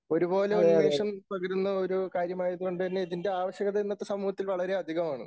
ഒരുപോലെ ഉന്മേഷം പകരുന്ന ഒരു കാര്യമായതുകൊണ്ട് തന്നെ ഇതിൻറെ ആവശ്യകത ഇന്നത്തെ സമൂഹത്തിൽ വളരെ അധികമാണ്.